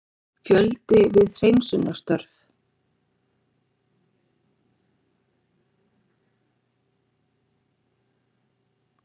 Fjöldi við hreinsunarstörf